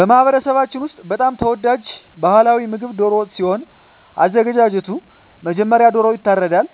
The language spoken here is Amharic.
በማህበረሰባችን ውስጥ በጣም ተወዳጅ ባህላዊ ምግብ ደሮ ሲሆን አዘጋጁ መጀመሪያ ዶሮዎ ይታረዳል